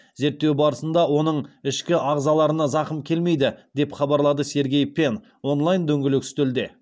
зерттеу барысында оның ішкі ағзаларына зақым келмейді деп хабарлады сергей пен онлайн дөңгелек үстелде